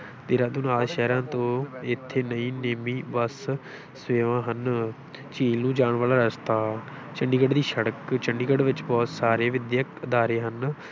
ਦੇਹਰਾਦੂਨ ਆਦਿ ਸ਼ਹਿਰਾਂ ਤੋਂ ਇੱਥੇ ਲਈ ਨੇਮੀ ਬਸ ਸੇਵਾ ਹਨ ਝੀਲ ਨੂੰ ਜਾਣ ਵਾਲਾ ਰਸਤਾ, ਚੰਡੀਗੜ੍ਹ ਦੀ ਸੜਕ, ਚੰਡੀਗੜ੍ਹ ਵਿੱਚ ਬਹੁਤ ਸਾਰੇ ਵਿਦਿਅਕ ਅਦਾਰੇ ਹਨ।